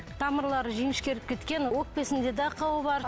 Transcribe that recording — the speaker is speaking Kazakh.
тамырлары жіңішкеріп кеткен өкпесінде де ақауы бар